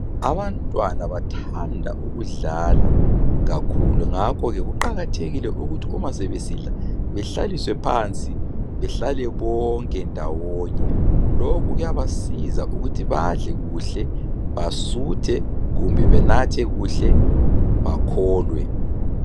Abantwana bathanda ukudlala kakhulu ngakho ke kuqakathekile kakhulu ukuba sebesidla behlaliswe phansi bahlale bonke ndawonye lokhu kuyaba siza ukuthi badle kuhle basuthe kumbe benathe kuhle bakholwe